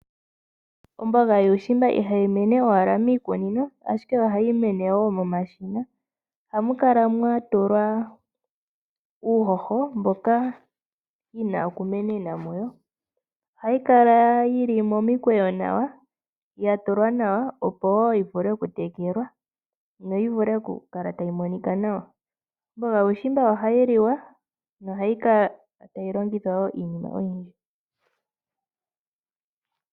Ombuga yuushimba ihayi mene owala miikunino ashike ohayi mene woo momashina. Ohamu kala mwatulwa uuhoho mboka yina oku menena muyo. Ohayi kala yili momikweyo nawa yatulwa nawa opo woo yivule oku tekelwa ,no yivule okulala tayi monika nawa. Omboga yuushimba ohay liwa ,ohayi kala tayi longithwa woo iinima oyindji.